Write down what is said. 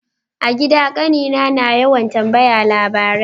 A gida kanina na yawan tambaya labarai.